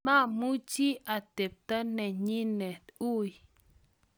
mamuchi atebto nenyine ui